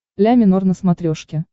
ля минор на смотрешке